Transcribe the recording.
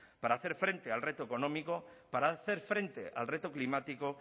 para hacer frente al reto económico para hacer frente al reto climático